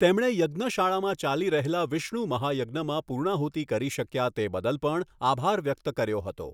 તેમણે યજ્ઞશાળામાં ચાલી રહેલા વિષ્ણુ મહાયજ્ઞમાં પૂર્ણાહુતિ કરી શક્યા તે બદલ પણ આભાર વ્યક્ત કર્યો હતો.